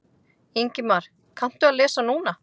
Ingimar: Kanntu að lesa núna?